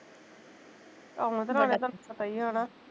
ਆਹੋ ਆਪਣੇ ਘਰ ਦਾ ਪਤਾ ਈ ਨਾ